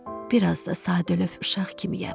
Biraz da sadəlövh uşaq kimiyəm.